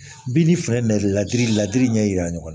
Bin ni filɛli ladi ladiri ɲɛ jira ɲɔgɔn na